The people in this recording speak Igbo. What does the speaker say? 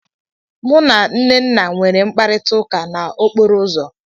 Mụ na Nnenna nwere mkparita ụka n'okporo ụzọ.